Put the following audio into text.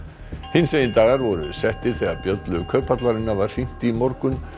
hinsegin dagar voru settir þegar bjöllu Kauphallarinnar var hringt í morgun